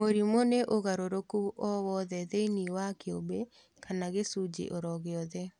Mũrimũ nĩ ũgarũrũku o wothe thĩinĩ wa kĩũmbe kana gĩcunjĩ oro gĩothe